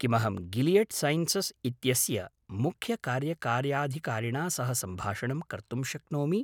किमहं Gilead Sciences इत्यस्य मुख्यकार्यकार्यधिकारिणा सह सम्भाषणं कर्तुं शक्नोमि?